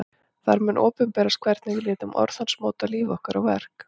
Þar mun opinberast hvernig við létum orð hans móta líf okkar og verk.